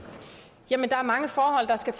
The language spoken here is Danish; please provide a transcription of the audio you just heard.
der ser